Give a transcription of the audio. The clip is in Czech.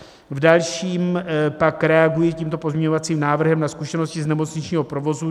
V dalším pak reaguji tímto pozměňovacím návrhem na zkušenosti z nemocničního provozu.